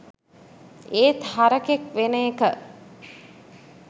ඒත් හරකෙක් වෙන එක